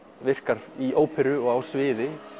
virkar í óperu og á sviði